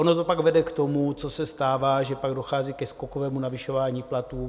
Ono to pak vede k tomu, co se stává, že pak dochází ke skokovému navyšování platů.